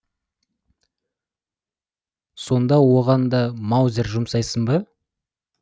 сонда оған да маузер жұмсаймын ба